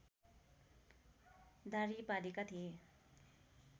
दाह्री पालेका थिए